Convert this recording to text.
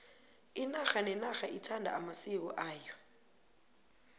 inarha nenarha ithanda amasiko ayo